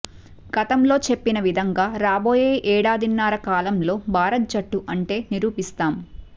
గతంలో చెప్పిన విధంగా రాబోయే ఏడాదిన్నర కాలంలో భారత జట్టు అంటే నిరూపిస్తాం